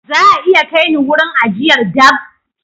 Za a iya kai ni wurin ajiyar dabb?